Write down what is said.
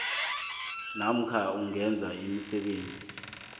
namkha ukwenza imisebenzi